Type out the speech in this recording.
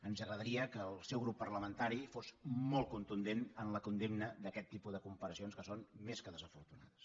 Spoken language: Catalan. ens agradaria que el seu grup parlamentari fos molt contundent en la condemna d’aquest tipus de comparacions que són més que desafortunades